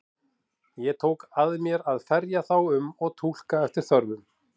Ég tók að mér að ferja þá um og túlka eftir þörfum.